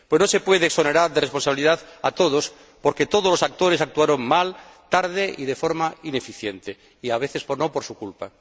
No se puede exonerar de responsabilidad a nadie porque todos los actores actuaron mal, tarde y de forma ineficiente y, a veces, no por su culpa.